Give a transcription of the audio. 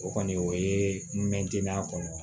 O kɔni o ye n mɛn dinɛ kɔnɔ